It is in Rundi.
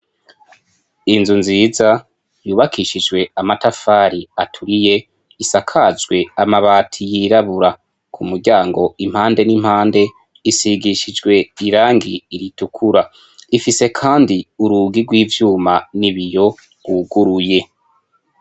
Inzu nziza yubakishijwe amatafari aturiye isakajwe amabati yirabura kumuryango impande n' impande isigishijwe irangi ritukura ifise kandi urugi gw' ivyuma n' ibiyo gwuguruye.